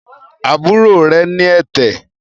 àbúrò rẹ̀ ní ẹ̀tẹ̀